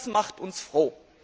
Das macht uns froh!